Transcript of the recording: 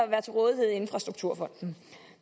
være til rådighed i infrastrukturfonden